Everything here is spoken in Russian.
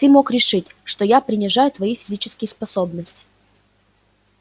ты мог решить что я принижаю твои физические способности